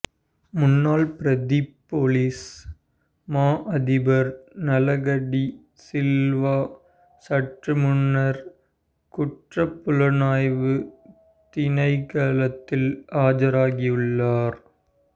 முன்னாள் பிரதிப் பொலிஸ் மா அதிபர் நலக டி சில்வா சற்று முன்னர் குற்றப் புலனாய்வுத் திணைக்களத்தில் ஆஜராகியுள்ளார்